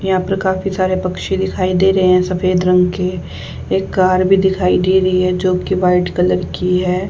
यहां पर काफी सारे पक्षी दिखाई दे रहे हैं सफेद रंग के एक कार भी दिखाई दे रही है जो कि वाइट कलर की है।